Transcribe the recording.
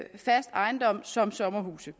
fast ejendom såsom sommerhuse